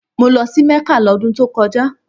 Mo lọ sí Mecca lọ́dun tó kọjá